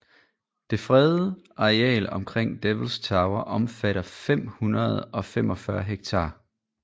Det fredede areal omkring Devils Tower omfatter 545 ha